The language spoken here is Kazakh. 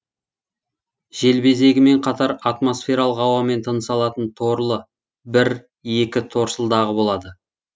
желбезегімен қатар атмосфералық ауамен тыныс алатын торлы бір екі торсылдағы болады